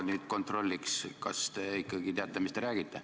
Ma nüüd kontrolliks, kas te ikkagi teate, mis te räägite.